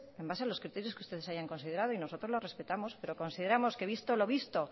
en base a los criterios que ustedes hayan considerado nosotros lo respetamos pero consideramos que visto lo visto